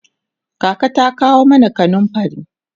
kaka ta kawo mana kanumfari